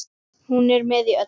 Hún er með í öllu